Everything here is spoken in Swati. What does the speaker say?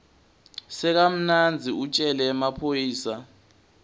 sakamanzini utjele emaphoyisa